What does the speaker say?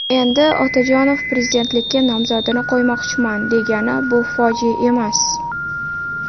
Endi Otajonov prezidentlikka nomzodini qo‘ymoqchiman, degani bu fojia emas.